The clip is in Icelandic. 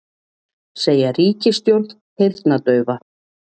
Segja ríkisstjórn heyrnardaufa